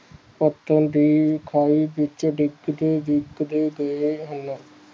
ਬਚਣ ਦੀ ਖਵਾਇਸ਼ ਵਿਚ ਡਿੱਗਦੇ ਡਿੱਗਦੇ ਦੇਰ ਹੇਗਾ